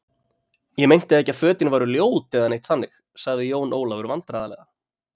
Ég meinti ekki að fötin væri ljót eða neitt þannig, sagði Jón Ólafur vandræðalega.